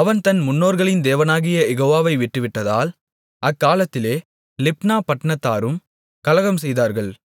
அவன் தன் முன்னோர்களின் தேவனாகிய யெகோவாவை விட்டுவிட்டதால் அக்காலத்திலே லிப்னா பட்டணத்தாரும் கலகம்செய்தார்கள்